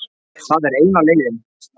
Það er eina leiðin